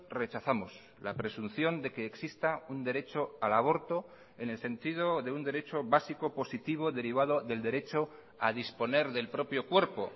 rechazamos la presunción de que exista un derecho al aborto en el sentido de un derecho básico positivo derivado del derecho a disponer del propio cuerpo